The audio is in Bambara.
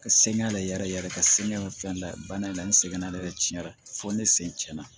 Ka sɛŋɛn ale yɛrɛ ka segi fɛn la bana in la ni sɛgɛnne yɛrɛ ciɲɛna fɔ ne sen tiɲɛna